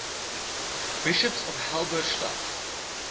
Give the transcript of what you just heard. bishops of halberstadt